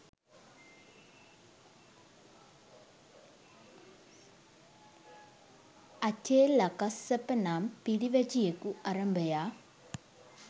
අචේලකස්සප නම් පිරිවැජියෙකු අරභයා